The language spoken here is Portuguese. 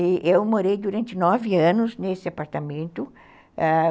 E eu morei durante nove anos nesse apartamento, ãh